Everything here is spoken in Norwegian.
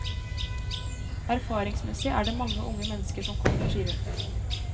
Erfaringsmessig er det mange unge mennesker som kommer, sier hun.